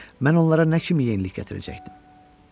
Mən onlara nə kimi yenilik gətirəcəkdim?